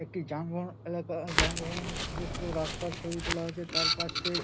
এটি যানবাহন এলাকা আ যানবাহন যুক্ত রাস্তার ছবি তোলা হয়েছে তার পাশে--